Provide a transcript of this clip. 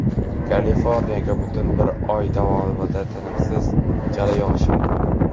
Kaliforniyaga butun bir oy davomida tinimsiz jala yog‘ishi mumkin.